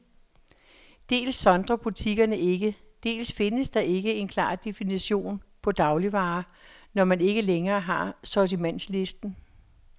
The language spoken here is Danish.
Dels sondrer butikkerne ikke, dels findes der ikke en klar definition på dagligvarer, når man ikke længere har sortimentslisten.